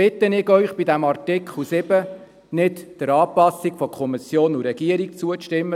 Deshalb bitte ich Sie, bei Artikel 7 nicht der Anpassung von Kommission und Regierung zuzustimmen.